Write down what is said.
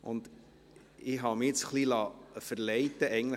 Ich habe mich jetzt ein bisschen verleiten lassen: